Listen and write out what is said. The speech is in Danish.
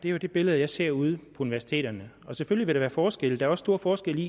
er det billede jeg ser ude på universiteterne selvfølgelig være forskelle der er store forskelle